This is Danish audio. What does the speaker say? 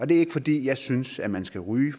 det er ikke fordi jeg synes at man skal ryge